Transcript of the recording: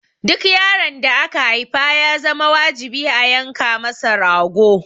Duk yaron da aka haifa ya zama wajibi a yanka masa rago.